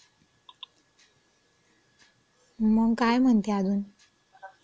मंग काय म्हणती अजुन?